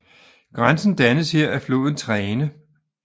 Grænsen dannes her af floden Trene